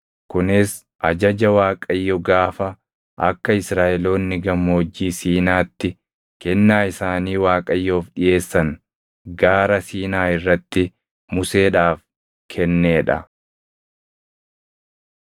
kunis ajaja Waaqayyo gaafa akka Israaʼeloonni Gammoojjii Siinaatti kennaa isaanii Waaqayyoof dhiʼeessan Gaara Siinaa irratti Museedhaaf kennee dha.